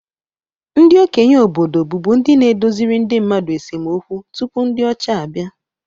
Ndị okenye obodo bụbu ndi na-edoziri ndị mmadu esemokwu tupu ndị ọcha abịa